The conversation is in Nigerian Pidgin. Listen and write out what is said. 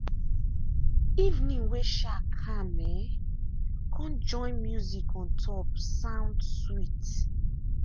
evening way um calm um come join music on top sound sweet.